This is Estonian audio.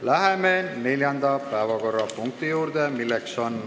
Läheme neljanda päevakorrapunkti juurde.